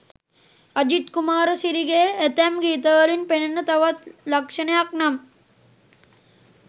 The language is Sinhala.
අජිත් කුමාරසිරිගේ ඇතැම් ගීතවලින් පෙනෙන තවත් ලක්ෂණයක් නම්